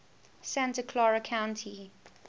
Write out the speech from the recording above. santa clara county